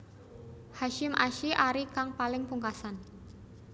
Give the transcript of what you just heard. Hasyim Asy arie kang paling pungkasan